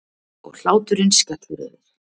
Og hláturinn skellur yfir.